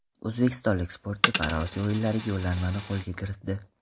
O‘zbekistonlik sportchi ParaOsiyo o‘yinlariga yo‘llanmani qo‘lga kiritdi.